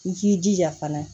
I k'i jija fana